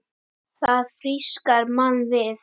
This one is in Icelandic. Það frískar mann við.